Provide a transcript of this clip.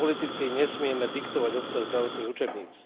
Ako politici nesmieme diktovať obsah zdravotných učebníc.